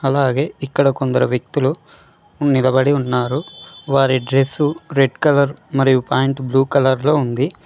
అలాగే ఇక్కడ కొందరు వ్యక్తులు ఉ నిలబడి ఉన్నారు వారి డ్రెస్సు రెడ్ కలర్ మరియు పాయింట్ బ్లూ కలర్లో ఉంది.